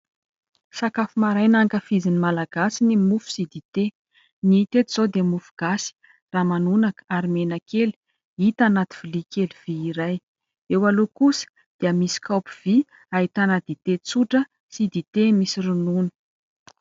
Sakafo maraina ankafizin'ny Malagasy ny mofo sy dite. Ny teto izao dia mofo gasy, ramanonaka ary menakely hita anaty lovia kely vy iray ; eo aloha kosa dia misy kaopy vy ahitana dite tsotra sy dite misy ronono.